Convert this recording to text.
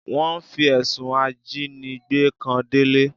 Wọ́n fi ẹ̀sùn ajínigbé kan Délé.